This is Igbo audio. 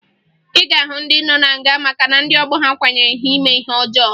Ị ga-ahụ ndị nọ na nga maka na ndị ọgbọ ha kwanyere ha ime ajọ ihe